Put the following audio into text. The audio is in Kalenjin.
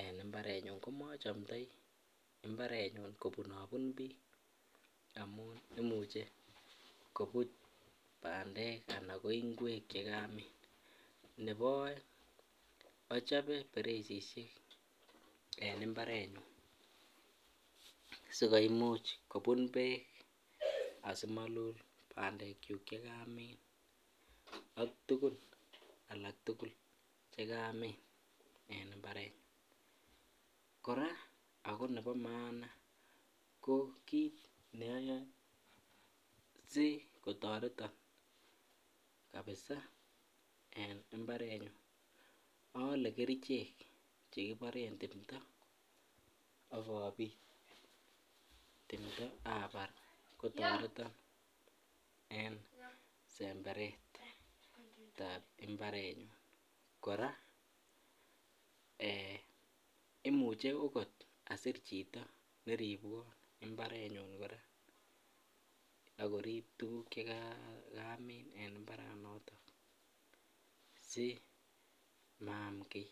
en imbarenyun komochomndoi mbarenyun kobunobun biik amun imuche kobut bandek ak ko ingwek chekamin, nebo oeng ochobe beresishek en mbarenyun sikomuch kobun beek asimolot bandekyuk chekamin ak tukun alak tukul chekamin en imbarenyun, kora ak ko nebo maana ko kiit ne oyoe sikotoreton abesen en mbarenyun olee kerichek chekiboren timndo ak obiit timndo abar kotoreton en semberetab imbarenyun, kora eeh imuche okot asir chito neribwon imbarenyun kora ak koriib tukuk cheksmin en mbaranoton si maam kii.